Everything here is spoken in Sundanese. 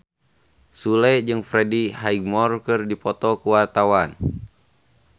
Sule jeung Freddie Highmore keur dipoto ku wartawan